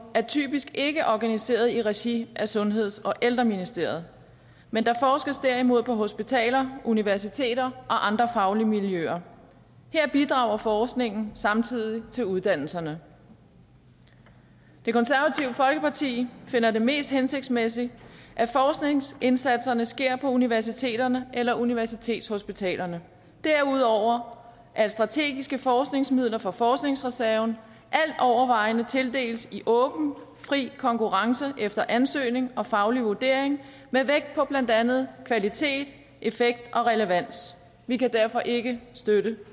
er typisk ikke organiseret i regi af sundheds og ældreministeriet men der forskes derimod på hospitaler universiteter og i andre faglige miljøer her bidrager forskningen samtidig til uddannelserne det konservative folkeparti finder det mest hensigtsmæssigt at forskningsindsatsen sker på universiteterne eller universitetshospitalerne og derudover at strategiske forskningsmidler fra forskningsreserven altovervejende tildeles i åben fri konkurrence efter ansøgning og faglig vurdering med vægt på blandt andet kvalitet effekt og relevans vi kan derfor ikke støtte